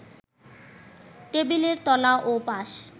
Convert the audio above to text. টেবিলের তলা ও পাশ